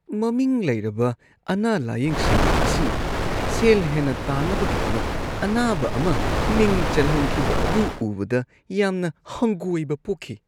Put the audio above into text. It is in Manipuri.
ꯃꯃꯤꯡ ꯂꯩꯔꯕ ꯑꯅꯥ-ꯂꯥꯌꯦꯡꯁꯪ ꯑꯁꯤꯅ ꯁꯦꯜ ꯍꯦꯟꯅ ꯇꯥꯟꯅꯕꯒꯤꯗꯃꯛ ꯑꯅꯥꯕ ꯑꯃ ꯃꯤꯡ ꯆꯜꯍꯟꯈꯤꯕ ꯑꯗꯨ ꯎꯕꯗ ꯌꯥꯝꯅ ꯍꯪꯒꯣꯏꯕ ꯄꯣꯛꯈꯤ ꯫